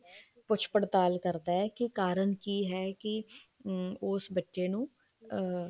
ਪੁੱਛ ਪੜਤਾਲ ਕਰਦੇ ਹੈ ਕੀ ਕਾਰਨ ਕੀ ਹੈ ਉਸ ਬੱਚੇ ਨੂੰ ਅਮ